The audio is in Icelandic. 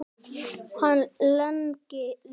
Hann lengi lifi.